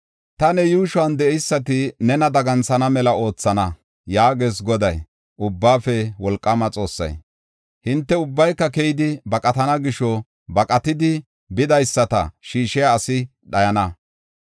Ta ne yuushuwan de7eysati nena daganthana mela oothana” yaagees Goday, Ubbaafe Wolqaama Xoossay. Hinte ubbay keyidi baqatana gisho baqatidi bidaysata shiishiya asi dhayana.